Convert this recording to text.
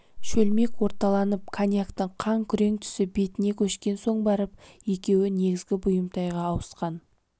шөлмек орталанып коньяктың қан күрең түсі бетіне көшкен соң барып екеуі негізгі бұйымтайға ауысқан